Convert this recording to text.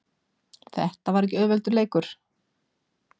Þetta var ekki auðveldur leikur